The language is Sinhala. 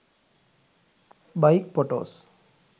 bike photos